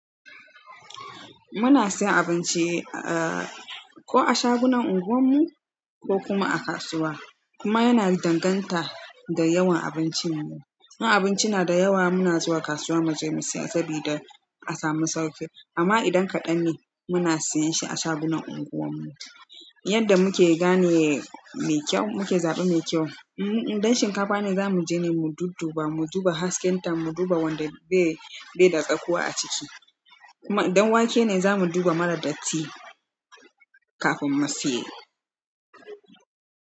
Muna siyan abinci, eh ko a shagunan unguwar mu ko kuma a kasuwa. Kuma yana danganta da yawan abincin mu. Ma abinci na da yawa muna zuwa kasuwa mu je mu siya sabida a samu sauƙi. Amma idan kaɗan ne muna siyan shi a shagunan unguwar mu. Yanda muke gane me kyau, muke zaɓen me kyau. Uh-uh, idan shinkafa ne za mu je ne mu dudduba, mu duba hasken ta, mu duba wanda bai, bai da tsakuwa a ciki. Kuma idan wake ne, za mu duba mara datti kafin mu siye.